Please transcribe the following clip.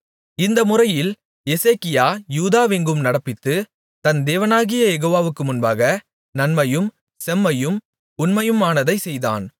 இந்த முறையில் எசேக்கியா யூதாவெங்கும் நடப்பித்து தன் தேவனாகிய யெகோவாவுக்கு முன்பாக நன்மையும் செம்மையும் உண்மையுமானதைச் செய்தான்